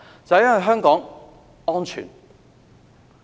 就是因為香港安全。